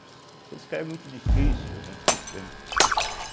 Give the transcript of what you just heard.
Esse cara é muito difícil, né? entende